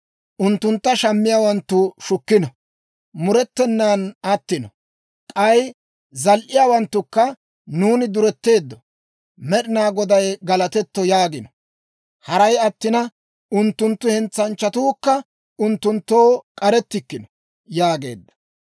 Unttuntta shammiyaawanttu shukkino; murettenan attino. K'ay zal"iyaawanttukka, ‹Nuuni duretteeddo; Med'inaa Goday galatetto› yaagiino; haray attina, unttunttu hentsanchchatuukka unttunttoo k'arettikkino» yaageedda.